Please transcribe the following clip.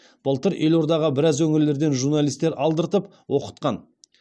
былтыр елордаға біраз өңірлерден журналистер алдыртып оқытқан